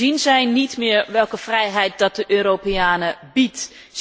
Zien zij niet meer welke vrijheid dat de Europeanen biedt?